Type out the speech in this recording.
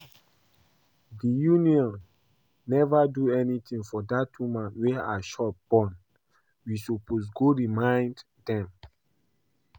The union never do anything for that woman wey her shop burn, we suppose go remind dem